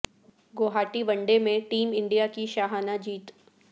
گو ہاٹی one day میں team India کی شاہانہ جیت